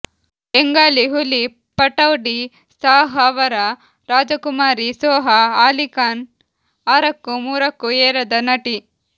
ಬೆಂಗಾಲಿ ಹುಲಿ ಪಟೌಡಿ ಸಾಹ್ ಅವರ ರಾಜಕುಮಾರಿ ಸೋಹಾ ಅಲಿ ಕಾನ್ ಆರಕ್ಕೂ ಮೂರಕ್ಕೂಏರದ ನಟಿ